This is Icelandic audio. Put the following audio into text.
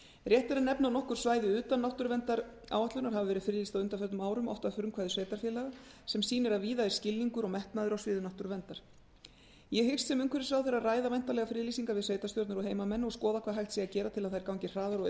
rétt er að nefna að nokkur svæði utan náttúruverndaráætlunar hafa verið friðlýst á undanförnum árum oft að frumkvæði sveitarfélaga sem sýnir að víða er skilningur og metnaður á sviði náttúruverndar ég hyggst sem umhverfisráðherra ræða væntanlegar friðlýsingar við sveitarstjórnir og heimamenn og skoða hvað hægt sé að gera til að þær gangi hraðar og